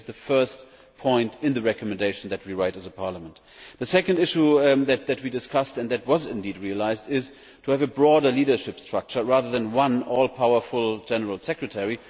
Today this is the first point in the recommendation that we are writing as a Parliament. The second issue that we discussed and which was indeed realised was to have a broader leadership structure rather than one all powerful General Secretary.